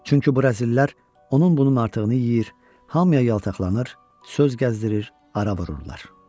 Çünki bu rəzillər onun bunun artıqını yeyir, hamıya yaltaqlanır, söz gəzdirir, ara vururlar.